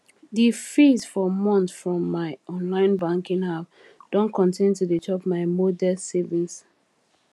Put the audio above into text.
the fees for month from my online banking app don continue to dey chop my modest savings